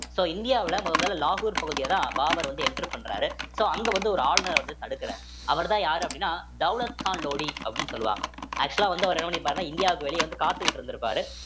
so இந்தியாவுல முதல் முதல் லலாகூர் பகுதியதான் பாபர் வந்து enter பண்றாரு so அங்க வந்து ஒரு ஆளுநரை வந்து தடுக்கறாரு அவர்தான் யாரு அப்படின்னா தௌலத் கான் லோடி அப்படின்னு சொல்லுவாங்க actual ஆ வந்து அவர் என்ன பண்ணியிருப்பாருன்னா இந்தியாவுக்கு வெளியே வந்து காத்துக்கிட்டு இருந்திருப்பாரு